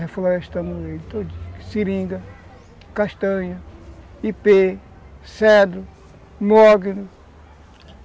Reflorestamos ele todo, seringa, castanha, ipê, cedro, mognos.